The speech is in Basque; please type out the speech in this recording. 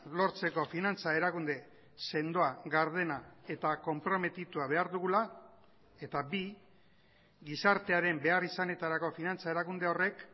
lortzeko finantza erakunde sendoa gardena eta konprometitua behar dugula eta bi gizartearen beharrizanetarako finantza erakunde horrek